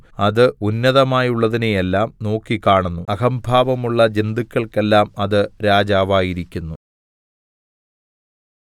അത് ഉന്നതമായുള്ളതിനെയെല്ലാം നോക്കിക്കാണുന്നു അഹംഭാവമുള്ള ജന്തുക്കൾക്കെല്ലാം അത് രാജാവായിരിക്കുന്നു